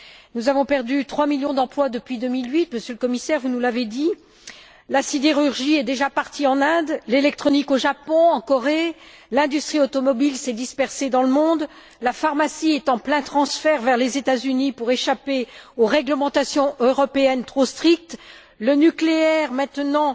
Nous avons perdu trois millions d'emplois depuis 2008 vous nous l'avez dit, Monsieur le Commissaire la sidérurgie est déjà partie en Inde, l'électronique au Japon et en Corée, l'industrie automobile s'est dispersée dans le monde, la pharmacie est en plein transfert vers les États Unis pour échapper aux réglementations européennes trop strictes et le nucléaire est maintenant